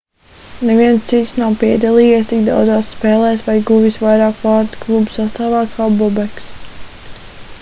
neviens cits nav piedalījies tik daudzās spēlēs vai guvis vairāk vārtu kluba sastāvā kā bobeks